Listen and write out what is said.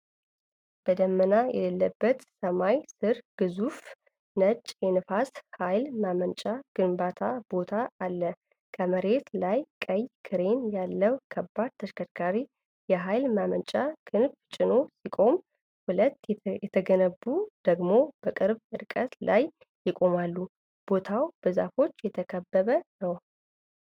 በደመና የሌለበት ሰማይ ስር፣ ግዙፍ ነጭ የንፋስ ኃይል ማመንጫ ግንባታ ቦታ አለ። ከመሬት ላይ ቀይ ክሬን ያለው ከባድ ተሽከርካሪ የኃይል ማመንጫውን ክንፍ ጭኖ ሲቆም፣ ሁለት የተገነቡት ደግሞ በቅርብ ርቀት ላይ ይቆማሉ። ቦታው በዛፎች የተከበበ ነው።